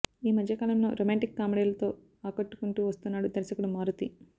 ఈ మధ్య కాలంలో రొమాంటిక్ కామెడీలతో ఆకట్టుకొంటూ వస్తున్నాడు దర్శకుడు మారుతి